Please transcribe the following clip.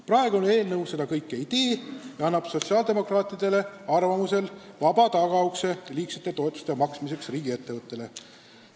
Praegune eelnõu seda kõike ei tee ja avab sotsiaaldemokraatide arvates tagaukse liigsete toetuste maksmiseks riigiettevõttele.